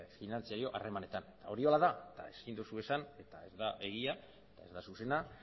finantzario harremanetan hori horrela da eta ezin duzu esan eta ez da egia ez da zuzena